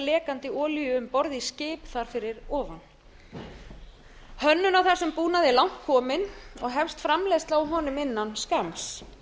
lekandi olíu um borð í skip þar fyrir ofan hönnun á þessum búnaði er langt kominn og hefst framleiðsla á honum innan skamms